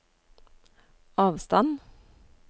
avstand